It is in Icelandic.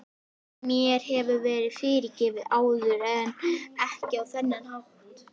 Mér hefur verið fyrirgefið áður en ekki á þennan hátt.